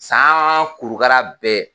San kurukara bɛɛ